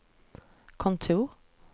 kontor